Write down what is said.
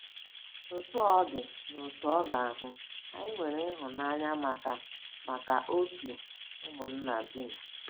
Otú ọ dị, n'otu oge ahụ, anyị 'nwere ịhụnanya maka maka òtù ụmụnna dum.